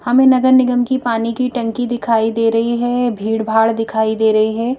हमें नगर निगम की पानी की टंकी दिखाई दे रही है। भीड़भाड़ दिखाई दे रही हैं।